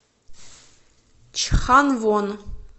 чханвон